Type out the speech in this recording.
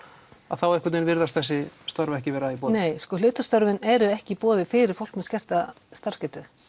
að þá einhvern veginn virðast þessi störf ekki vera í boði nei sko hlutastörfin eru ekki í boði fyrir fólk með skerta starfsgetu